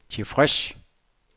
tilfreds